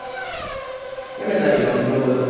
કેમ ધીમા ધીમા બોલો છો?